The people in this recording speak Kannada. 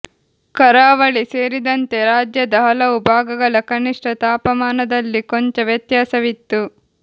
ಕರಾವಳಿ ಸೇರಿದಂತೆ ರಾಜ್ಯದ ಹಲವು ಭಾಗಗಳ ಕನಿಷ್ಠ ತಾಪಮಾನದಲ್ಲಿ ಕೊಂಚ ವ್ಯತ್ಯಾಸವಿತ್ತು